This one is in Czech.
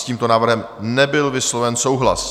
S tímto návrhem nebyl vysloven souhlas.